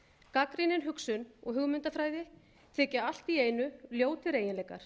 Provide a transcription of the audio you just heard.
gagnrýnin hugsun og hugmyndafræði þykja allt í einu ljótir eiginleikar